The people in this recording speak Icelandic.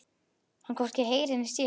Hann hvorki heyrir né sér.